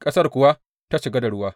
Ƙasar kuwa ta cika da ruwa.